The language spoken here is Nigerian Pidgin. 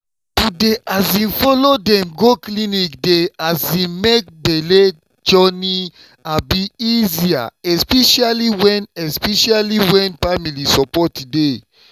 to dey um follow dem go clinic dey um make belle journey um easier especially when especially when family support dey.